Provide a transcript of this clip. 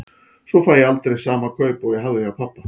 Svo fæ ég aldrei sama kaup og ég hafði hjá pabba.